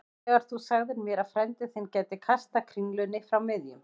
Þegar þú sagðir mér að frændi þinn gæti kastað kringlunni frá miðjum